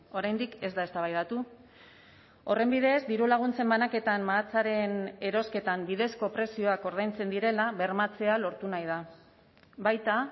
oraindik ez da eztabaidatu horren bidez diru laguntzen banaketan mahatsaren erosketan bidezko prezioak ordaintzen direla bermatzea lortu nahi da baita